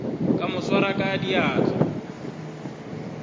ka mo swara ka diatla